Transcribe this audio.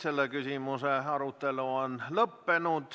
Selle küsimuse arutelu on lõppenud.